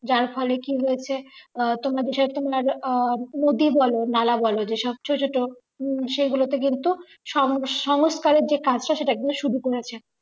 যার ফলে কি হয়েছে আহ তোমার বিষয়ে অনেকটাই আহ নদী বলো নালা বলো যে সব ছোট ছোট সেগুলোতে কিন্তু সব সংস্কার এর যে কাজ সেটা কিন্তু শুরু করেছেন